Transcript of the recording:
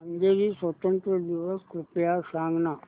Hungary स्वातंत्र्य दिवस कृपया सांग ना